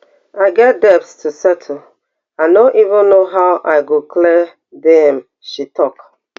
i get debts to settle i no even know how i go clear di am she tok